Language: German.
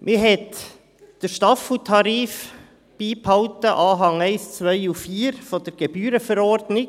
Man hat den Staffeltarif beibehalten, Anhänge 1, 2 und 4 der Gebührenverordnung.